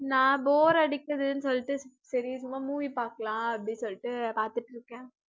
நான் bore அடிக்குதுனு சொல்லிட்டு சரி சும்மா movie பாக்கலாம் அப்படி சொல்லிட்டு பார்த்திட்ருக்கேன்